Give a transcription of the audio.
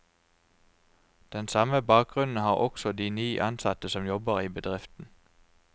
Den samme bakgrunnen har også de ni ansatte som jobber i bedriften.